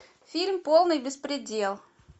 фильм полный беспредел